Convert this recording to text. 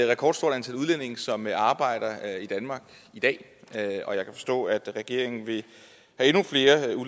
rekordstort antal udlændinge som arbejder i danmark i dag og jeg kan forstå at regeringen vil